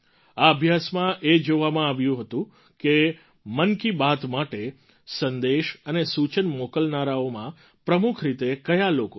આ અભ્યાસમાં એ જોવામાં આવ્યું કે મન કી બાત માટે સંદેશ અને સૂચન મોકલનારાઓમાં પ્રમુખ રીતે કયા લોકો છે